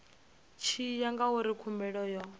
tshi ya ngauri khumbelo yo